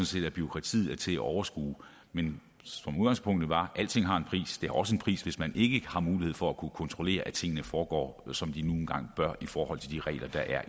set at bureaukratiet er til at overskue men som udgangspunktet var alting har en pris det har også en pris hvis man ikke har mulighed for at kunne kontrollere at tingene foregår som de nu engang bør i forhold til de regler der